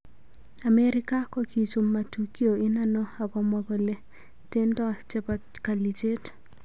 amerika kokichum matukio inano ak komwa kole tendo chepo kalichet